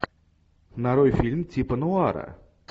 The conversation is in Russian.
нарой фильм типа нуара